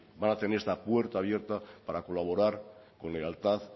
van a tener esta puerta abierta para colaborar con lealtad